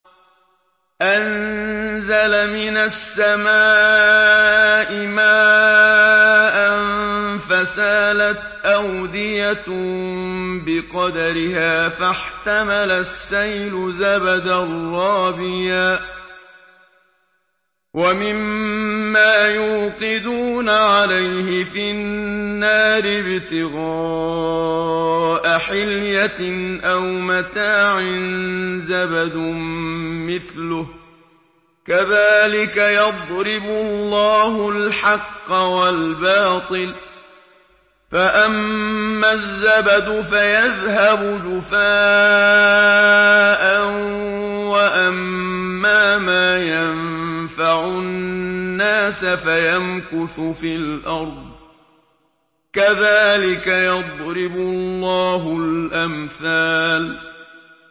أَنزَلَ مِنَ السَّمَاءِ مَاءً فَسَالَتْ أَوْدِيَةٌ بِقَدَرِهَا فَاحْتَمَلَ السَّيْلُ زَبَدًا رَّابِيًا ۚ وَمِمَّا يُوقِدُونَ عَلَيْهِ فِي النَّارِ ابْتِغَاءَ حِلْيَةٍ أَوْ مَتَاعٍ زَبَدٌ مِّثْلُهُ ۚ كَذَٰلِكَ يَضْرِبُ اللَّهُ الْحَقَّ وَالْبَاطِلَ ۚ فَأَمَّا الزَّبَدُ فَيَذْهَبُ جُفَاءً ۖ وَأَمَّا مَا يَنفَعُ النَّاسَ فَيَمْكُثُ فِي الْأَرْضِ ۚ كَذَٰلِكَ يَضْرِبُ اللَّهُ الْأَمْثَالَ